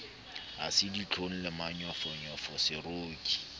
ha se ditlhong le manyofonyofoseroki